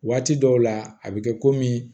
Waati dɔw la a bɛ kɛ komi